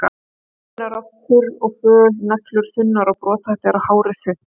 Húðin er oft þurr og föl, neglur þunnar og brothættar og hárið þunnt.